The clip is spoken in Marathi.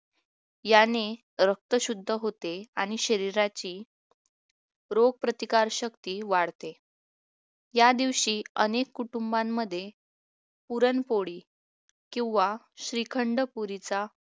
याने रक्त शुद्ध होते आणि शरीराची रोगप्रतिकार शक्ती वाढते या दिवशी अनेक कुटुंबांमध्ये पुरणपोळी किंवा श्रीखंड पुरीचा